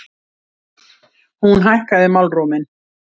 Hún hækkaði málróminn.